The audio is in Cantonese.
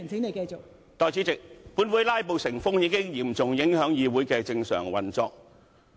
代理主席，本會"拉布"成風，已嚴重影響議會的正常運作。